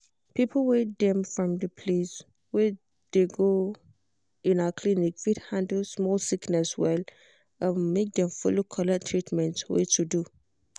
people wey um from de place wey de go um clinic fit handle small sickness well um make dem follow collect treatment wey to do.